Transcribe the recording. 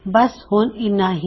ਬਸ ਹੁਣ ਇੰਨਾ ਹੀ